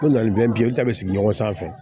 Ko nafe bi ye olu ta bɛ sigi ɲɔgɔn sanfɛ